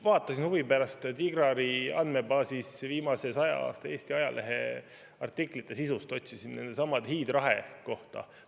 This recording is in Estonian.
Vaatasin huvi pärast DIGAR‑i andmebaasi ja otsisin viimase 100 aasta Eesti ajaleheartiklite sisust sellesama hiidrahe kohta.